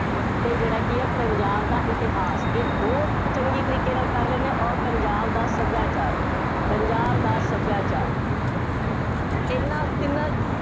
ਅਤੇ ਜਿਹੜਾ ਕਿ ਹੈ, ਪੰਜਾਬ ਦਾ ਇਤਿਹਾਸ, ਇਹ ਦੋ ਚੰਗੇ ਤਰੀਕੇ ਨਾਲ ਕਰ ਲੈਂਦੇ ਹੋ ਅੋਰ ਪੰਜਾਬ ਦਾ ਸੱਭਿਆਚਾਰ, ਪੰਜਾਬ ਦਾ ਸੱਭਿਆਚਾਾਰ, ਇਹਨਾ ਤਿੰਨਾ